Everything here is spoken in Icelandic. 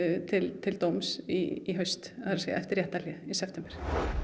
til til dóms í haust eftir réttarhlé í september